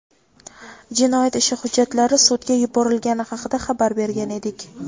jinoyat ishi hujjatlari sudga yuborilgani haqida xabar bergan edik.